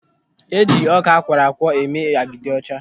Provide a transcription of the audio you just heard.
Eji ọka akwọrọakwọ eme agidi ọcha.